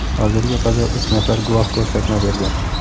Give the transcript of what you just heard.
Hozirga qadar uch nafar guvoh ko‘rsatma bergan.